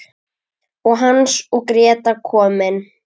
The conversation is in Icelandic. Og Hans og Gréta komin!